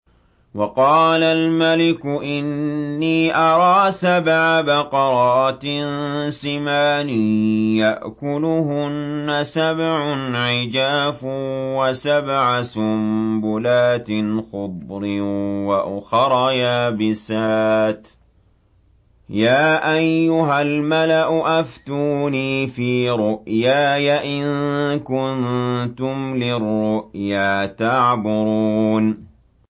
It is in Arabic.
وَقَالَ الْمَلِكُ إِنِّي أَرَىٰ سَبْعَ بَقَرَاتٍ سِمَانٍ يَأْكُلُهُنَّ سَبْعٌ عِجَافٌ وَسَبْعَ سُنبُلَاتٍ خُضْرٍ وَأُخَرَ يَابِسَاتٍ ۖ يَا أَيُّهَا الْمَلَأُ أَفْتُونِي فِي رُؤْيَايَ إِن كُنتُمْ لِلرُّؤْيَا تَعْبُرُونَ